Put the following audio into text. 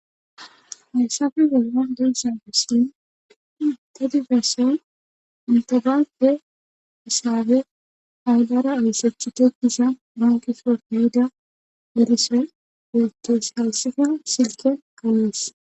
Hayssape bolan de'za missilen inte ganfe asaabe aulara oyssachi tokkisa mankifo niida derise geytoysalsifa silken ka'es